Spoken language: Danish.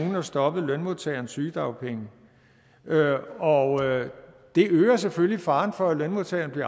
har stoppet lønmodtagerens sygedagpenge og det øger selvfølgelig faren for at lønmodtageren bliver